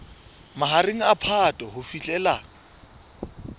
mahareng a phato ho fihlela